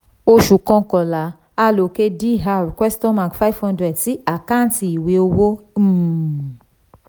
oṣù kọkànlá: aloke dr five hundred sí àkáǹtì ìwé owó um